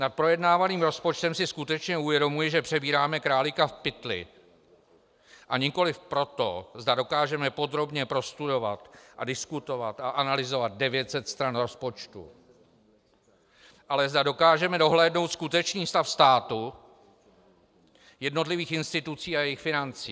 Nad projednávaným rozpočtem si skutečně uvědomuji, že přebíráme králíka v pytli, a nikoliv proto, zda dokážeme podrobně prostudovat a diskutovat a analyzovat 900 stran rozpočtu, ale zda dokážeme dohlédnout skutečný stav státu, jednotlivých institucí a jejich financí.